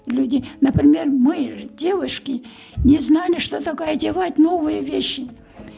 люди например мы девушки не знали что такое одевать новые вещи